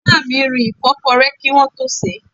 Ìyá mi rin ìfọ́kọrẹ́ kí wọ́n tó sèé.